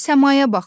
Səmaya baxaq.